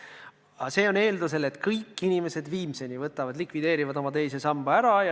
Aga see on eeldusel, et kõik inimesed viimseni likvideerivad oma teise samba ära.